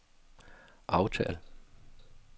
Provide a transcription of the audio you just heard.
aftal